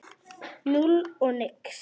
Núll og nix.